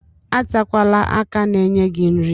Atakwala aka na-enye gị nri.